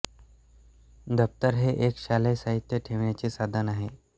दप्तर हे एक शालेय सहित्य ठेवण्याचे साधन आहे